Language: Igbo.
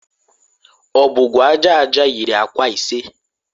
Ọbọgwụ aja aja yiri akwa ise.